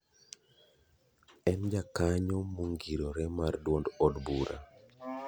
En jakanyo mongirore mar duond od bura.